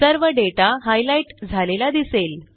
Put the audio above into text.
सर्व data highlight झालेला दिसेल